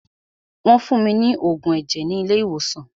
Wọ́n fún mí ní oògùn ẹ̀jẹ̀ ni ilé ìwòsàn.